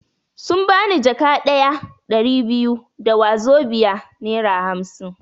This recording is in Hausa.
Sun bani jaka ɗaya (Ɗari biyu) da wazobia (nera hamsin)